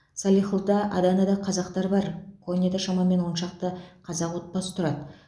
салихлыда аданада қазақтар бар коняда шамамен он шақты қазақ отбасы тұрады